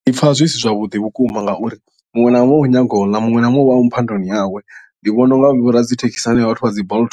Ndi pfa zwi si zwavhuḓi vhukuma ngauri muṅwe na muṅwe u nyaga u ḽa muṅwe na muṅwe uvha a muphandoni yawe ndi vhona u nga vho radzithekhisi na hanevha vhathu vha dzi bolt